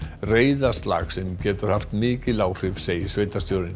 reiðarslag sem getur haft mikil áhrif segir sveitarstjórinn